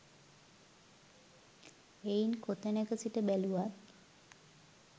එයින් කොතැනක සිට බැලුවත්